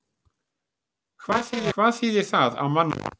Hvað þýðir það á mannamáli?